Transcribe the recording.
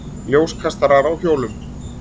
Ljóskastarar á hjólum.